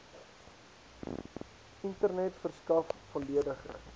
internet verskaf volledige